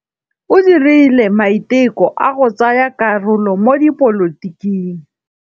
O dirile maitekô a go tsaya karolo mo dipolotiking.